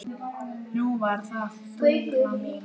Nú var það Þuríður mín.